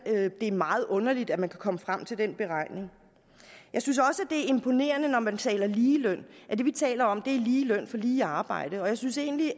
det er meget underligt at man kan komme frem til den beregning jeg synes også det imponerende når man taler om ligeløn at det vi taler om er lige løn for lige arbejde jeg synes egentlig